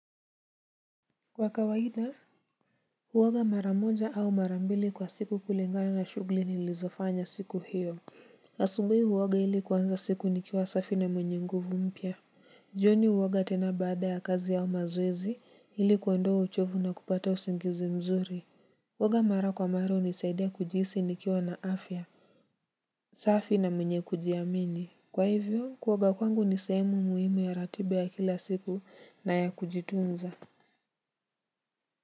Kwa kawaida, huoga mara moja au mara mbili kwa siku kulingana na shughuli nilizofanya siku hiyo asubui huwaga ili kwanza siku nikiwa safi na mwenye nguvu mpya. Jioni huoga tena baada ya kazi au mazoezi ili kuondoa uchovu na kupata usingizi mzuri kuoga mara kwa mara hunisaidia kujihisi nikiwa na afya. Safi na mwenye kujiamini. Kwa hivyo, kuoga kwangu ni sehemu muhimu ya ratiba ya kila siku na ya kujitunza.